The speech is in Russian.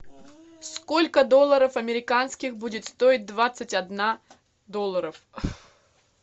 сколько долларов американских будет стоить двадцать одна долларов